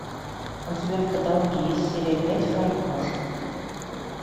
у тебя в каталоге есть серия пять фарго